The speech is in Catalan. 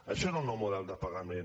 això és el nou model de pagament